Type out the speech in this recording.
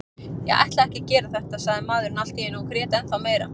Ég ætlaði ekki að gera þetta, sagði maðurinn allt í einu og grét ennþá meira.